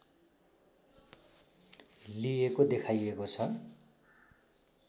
लिएको देखाइएको छ